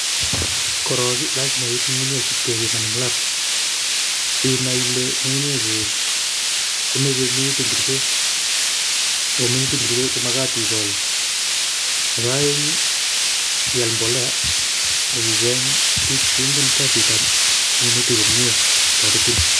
Korok ii, lasima iib ngungunyek ip kepiman eng Lap sinai ile ngungunyeguk ko minutik ingiro che magat igol. Nebo aeng ii ial mbolea ak icheng bik che ingen kasitab minutik komie kotaretin.